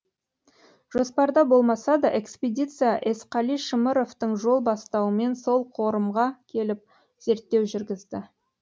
жоспарда болмаса да экспедиция есқали шымыровтың жол бастауымен сол қорымға келіп зерттеу жүргізді